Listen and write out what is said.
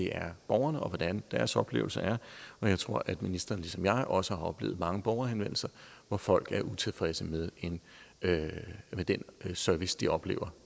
er borgerne og hvordan deres oplevelse er og jeg tror at ministeren ligesom jeg også har oplevet mange borgerhenvendelser hvor folk er utilfredse med den service de oplever